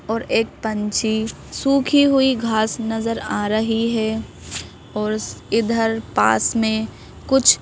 और एक पंछी सूखी हुई घास नजर आ रही है और इधर पास में कुछ--